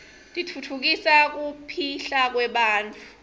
titfutfukisa kipihlakwebantfu